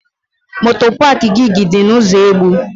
Moto paak GIG dị na ụzọ Egbu.